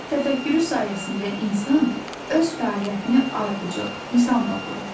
Təfəkkürü sayəsində insan öz fəaliyyətini ardıcıl nizamla qurur.